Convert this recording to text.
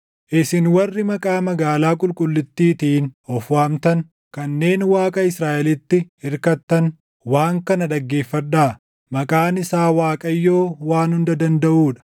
isin warri maqaa magaalaa qulqullittiitiin of waamtan, kanneen Waaqa Israaʼelitti irkattan, // waan kana dhaggeeffadhaa; maqaan isaa Waaqayyoo Waan Hunda Dandaʼuu dha: